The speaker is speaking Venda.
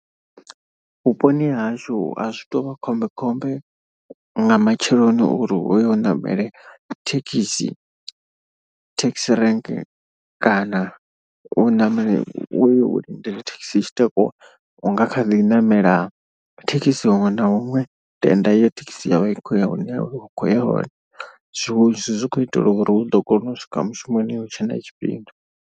Vhuponi hashu azwi tuvha khombekhombe nga matsheloni uri uyo u ṋamele thekhisi thekhisi rank. Kana u ṋamela uye u lindela thekhisi i tshi takuwa unga kha ḓi namela thekhisi huṅwe na huṅwe tenda uri thekhisi yo vha i khou ya hune wa khou ya hone. Zwiṅwe zwithu zwi kho itelwa uri hu ḓo kona u swika mushumoni ya hu tshe na tshifhinga.